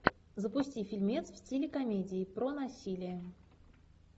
запусти фильмец в стиле комедии про насилие